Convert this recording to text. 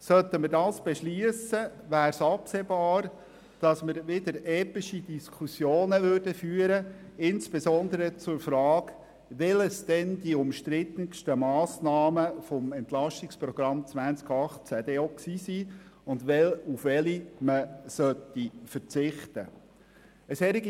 Sollten wir das beschliessen, wäre absehbar, dass wir wieder epische Diskussionen führen würden, insbesondere zur Frage, welches denn die umstrittensten Massnahmen des EP 2018 gewesen seien und auf welche man verzichten solle.